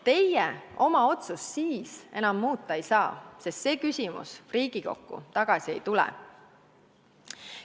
Teie oma otsust siis enam muuta ei saa, sest see küsimus Riigikokku tagasi ei tule.